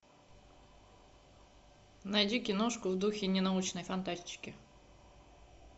найди киношку в духе ненаучной фантастики